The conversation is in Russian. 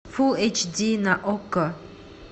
фул эйч ди на окко